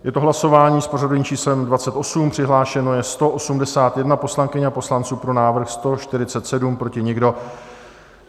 Je to hlasování s pořadovým číslem 28, přihlášeno je 181 poslankyň a poslanců, pro návrh 147, proti nikdo.